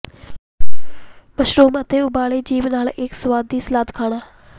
mushroom ਅਤੇ ਉਬਾਲੇ ਜੀਭ ਨਾਲ ਇੱਕ ਸੁਆਦੀ ਸਲਾਦ ਖਾਣਾ